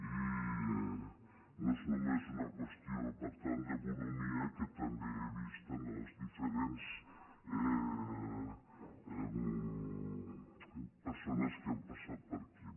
i no és només una qüestió per tant de bonhomia que té també he vist en les diferents per·sones que han passat per aquí